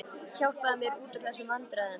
Hjálpaðu mér út úr þessum vandræðum.